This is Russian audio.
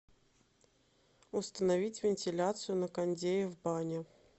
установить вентиляцию на кондее в бане